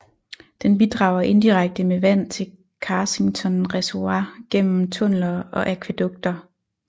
Den bidrager indirekte med vand til Carsington Reservoir gennem tunneler og akvædukter